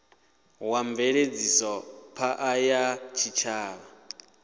wa mveledzisophan ḓa ya tshitshavha